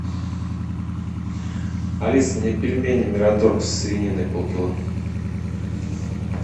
алиса мне пельмени мираторг со свининой полкило